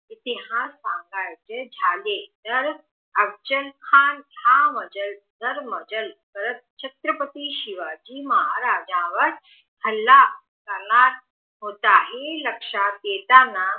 इतिहास सांगायचे झाले तर अफजल खान हा दरमजल करत छत्रपती शिवाजी महाराजांवर हल्ला करणार होता हे लक्षात येताना